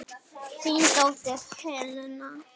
Þín dóttir Helena.